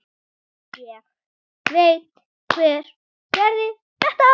Ég veit hver gerði þetta.